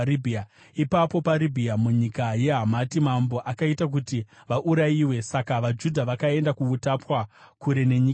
Ipapo paRibhira, munyika yeHamati, mambo akaita kuti vaurayiwe. Saka vaJudha vakaenda kuutapwa, kure nenyika yavo.